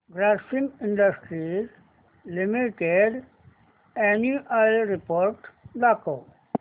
Grasim industries limited annual report दाखव